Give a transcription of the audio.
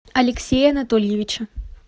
алексея анатольевича